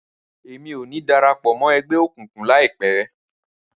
Rárá, Èmí o ni darapọ̀ mọ ẹgbẹ okunkun laipẹ